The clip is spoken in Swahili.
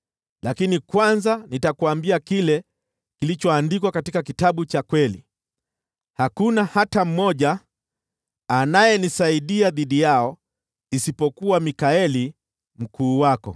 Lakini kwanza nitakuambia kile kilichoandikwa katika Kitabu cha Kweli. (Hakuna hata mmoja anayenisaidia dhidi yao isipokuwa Mikaeli, mkuu wenu.